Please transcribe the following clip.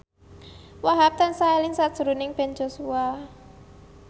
Wahhab tansah eling sakjroning Ben Joshua